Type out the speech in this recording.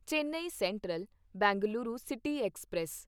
Chennai central Bengaluru city express